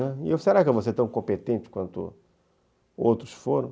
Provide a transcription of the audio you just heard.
Né, e eu , será que eu vou ser tão competente quanto outros foram?